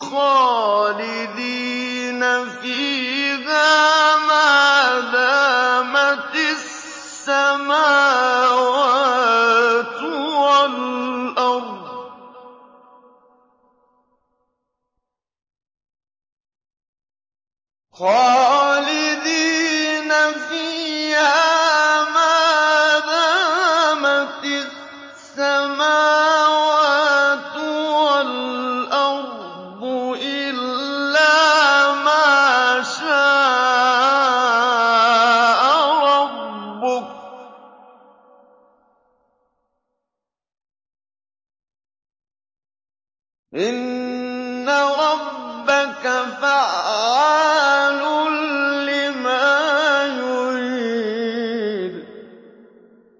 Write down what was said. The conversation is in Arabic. خَالِدِينَ فِيهَا مَا دَامَتِ السَّمَاوَاتُ وَالْأَرْضُ إِلَّا مَا شَاءَ رَبُّكَ ۚ إِنَّ رَبَّكَ فَعَّالٌ لِّمَا يُرِيدُ